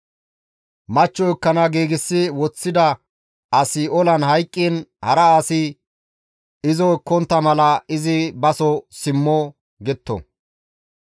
Machcho ekkana giigsi woththida asi olan hayqqiin hara asi izo ekkontta mala izi baso simmo» getto.